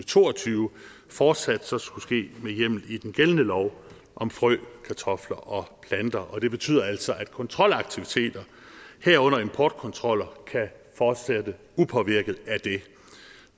to og tyve fortsat så skulle ske med hjemmel i den gældende lov om frø kartofler og planter og det betyder altså at kontrolaktiviteter herunder importkontroller kan fortsætte upåvirket af det